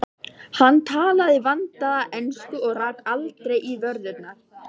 Hann talaði vandaða ensku og rak aldrei í vörðurnar.